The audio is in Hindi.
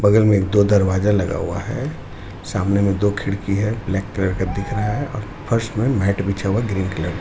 बगल में एक दो दरवाजा लगा हुआ है सामने मे दो खिड़की है ब्लैक कलर का दिख रहा हैऔर फर्श में मेट बिछा हुआ है ग्रीन कलर का--